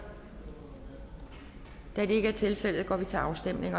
da det ikke er tilfældet går vi til afstemning